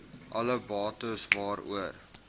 alle bates waaroor